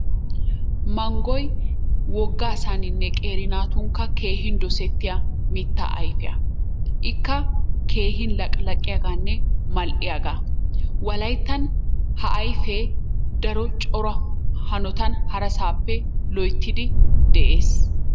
Manggoy wogga asaaninne qeeri naatukka keehin dosettiya mittaa ayfiya ikka keehin laqqilaqiyaaganne mal'iyaaga. wolayttan ha ayfee daro cora hanotan harasaappe loyttidi de'ees.